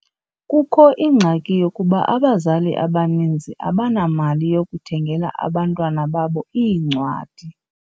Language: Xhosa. Kukho ingxaki yokuba abazali abaninzi abanamali yokuthengela abantwana babo iincwadi.